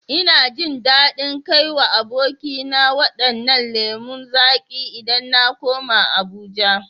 Ina jin dadin kai wa abokina wadannan lemu zaƙi idan na koma Abuja